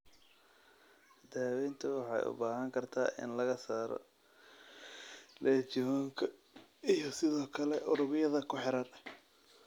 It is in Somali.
Daaweyntu waxay u baahan kartaa in laga saaro legion-ka iyo sidoo kale unugyada ku xeeran.